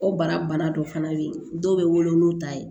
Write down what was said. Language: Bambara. O bara bana dɔ fana bɛ yen dɔw bɛ wolo n'o ta ye